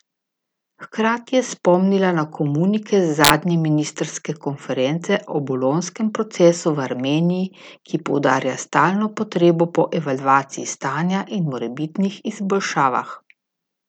Hkrati je spomnila na komunike z zadnje ministrske konference o bolonjskem procesu v Armeniji, ki poudarja stalno potrebo po evalvaciji stanja in morebitnih izboljšavah.